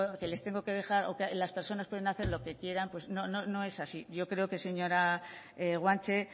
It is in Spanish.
que les tengo que dejar o que las personas pueden hacer lo que quieran pues no no es así yo creo que señora guanche